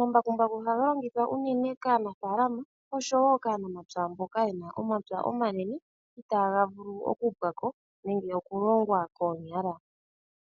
Omambakumbaku ohaga longithwa unene kaanafaalama oshowo kaanamapya mboka yena omapya omanene itaaga vulu okupwako nenge okulongwa koonyala.